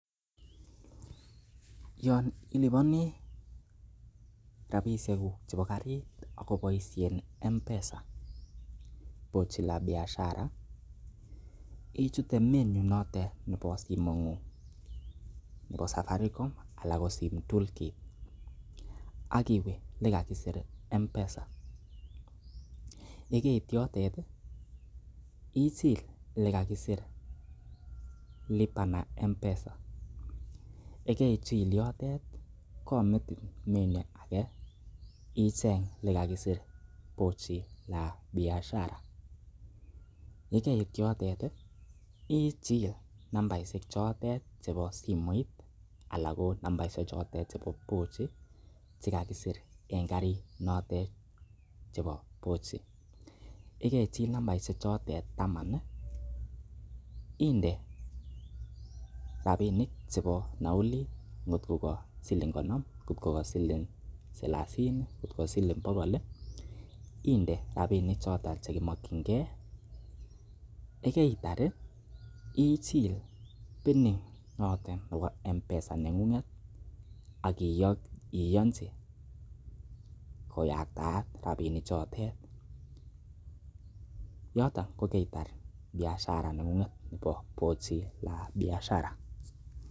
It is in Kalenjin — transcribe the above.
Yon iliponi rabishekuk chebo karit agoboisien M-Pesa poche la biashara ichute menu notet nebo simoing'ung nebo Safaricom anan ko sim toolkit ak iwe le kakisir M-Pesa ye keit yotet ichil ele kakisir lipa na mpesa ye keichil yotet komutin menu age icheng ele kakisir pochi la biashara ye keit yotet ichil nambaishek chotet chebo simoit anan ko nambaishek chotet chebo pochi che kakisir en karit notet chebo pochi ye kaichil nambaishek chotet taman inde rabinik chebo nauli kotko ko siling konom, salasini, kotko siling bogol inde rabinik choto che kimokinge ye keitar ichil PIN notet nebo M-Pesa neng'ung'et ak iyonchi koyaktaak rabishek chotet yoto kokeitar biashara neng'ung'et nebo pochi la biashara